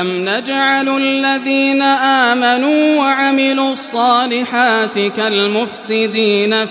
أَمْ نَجْعَلُ الَّذِينَ آمَنُوا وَعَمِلُوا الصَّالِحَاتِ كَالْمُفْسِدِينَ